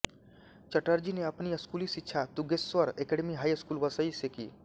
चटर्जी ने अपनी स्कूली शिक्षा Tungeshwar academy high school Vasai से की